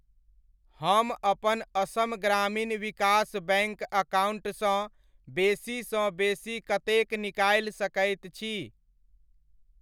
हम अपन असम ग्रामीण विकस बैङ्क अकाउण्टसँ बेसी सँ बेसी कतेक निकालि सकैत छी?